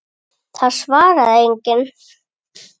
Það svaraði enginn.